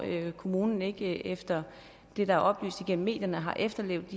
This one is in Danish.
kommunen ikke efter det der er oplyst gennem medierne har efterlevet